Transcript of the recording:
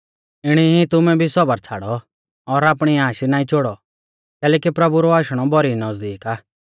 इणी ई तुमै भी सौबर छ़ाड़ौ और आपणी आश नाईं चोड़ौ कैलैकि प्रभु रौ आशणौ भौरी नज़दीक आ